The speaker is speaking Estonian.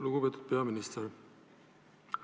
Lugupeetud peaminister!